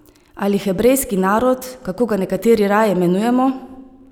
Ali hebrejski narod, kako ga nekateri raje imenujemo?